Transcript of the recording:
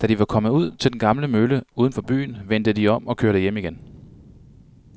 Da de var kommet ud til den gamle mølle uden for byen, vendte de om og kørte hjem igen.